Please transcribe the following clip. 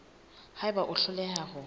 ha eba o hloleha ho